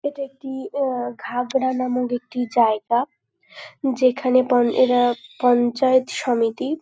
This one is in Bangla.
এটা একটি আহ ঘাগরা নামক একটি জায়গা যেখানে পন এরা পঞ্চায়েত সমিতি।